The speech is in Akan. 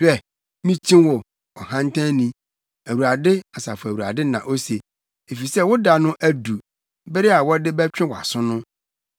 “Hwɛ, mikyi wo; ɔhantanni.” Awurade, Asafo Awurade na ose, “efisɛ wo da no adu bere a wɔde bɛtwe wʼaso no.